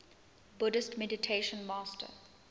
buddhist meditation master